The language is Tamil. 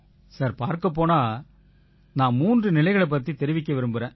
பார்க்கப் போனா நான் மூன்று நிலைகளைப் பத்தி தெரிவிக்க விரும்பறேன்